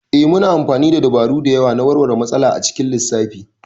Ee, muna amfani da dabaru da yawa na warware matsala a cikin lissafi.